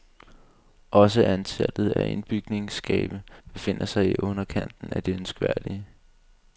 Også antallet af indbygningsskabe befinder sig i underkanten af det ønskværdige.